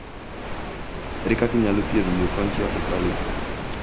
Ere kaka inyalo thiedh leukonychia totalis?